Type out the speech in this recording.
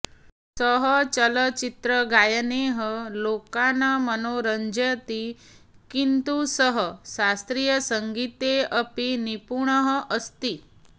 सः चलचित्रगायनैः लोकान् मनोरञ्जयति किन्तु सः शास्त्रीयसङ्गीते अपि निपुणः अस्ति